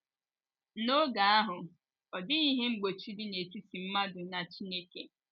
N’oge ahụ, ọ dịghị ihe mgbochi dị n’etiti mmadụ na Chineke.